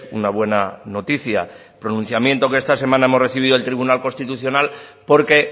una buena noticia pronunciamiento que esta semana hemos recibido del tribunal constitucional porque